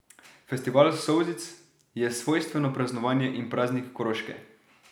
Festival solzic je svojstveno praznovanje in praznik Koroške.